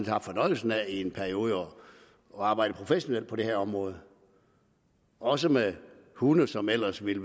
haft fornøjelsen af i en periode at arbejde professionelt på det her område også med hunde som ellers ville